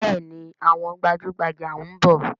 Bẹẹni, àwọn gbajugbaja ń bọ̀